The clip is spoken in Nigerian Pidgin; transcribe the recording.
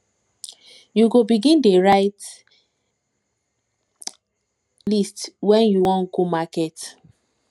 you go begin dey write begin dey write list wen you wan go market